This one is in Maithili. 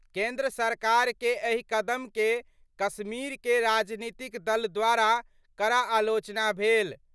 केंद्र सरकार के एहि कदम के कश्मीर के राजनीतिक दल द्वारा कड़ा आलोचना भेल।